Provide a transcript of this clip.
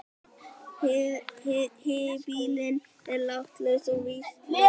Híbýlin eru látlaus og vistleg.